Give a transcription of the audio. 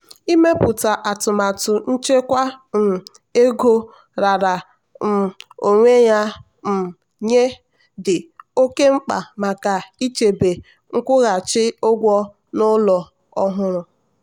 ịmepụta atụmatụ nchekwa um ego raara um onwe ya um nye dị oke mkpa maka ịchebe nkwụghachi ụgwọ n'ụlọ ọhụrụ.